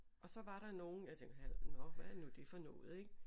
Og så var der nogle jeg tænkte nåh hvad er nu det for noget ik